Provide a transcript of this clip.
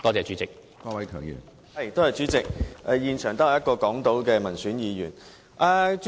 主席，現場只有我這一位港島民選議員在席。